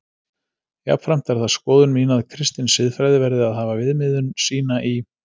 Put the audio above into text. Jafnframt er það skoðun mín að kristin siðfræði verði að hafa viðmiðun sína í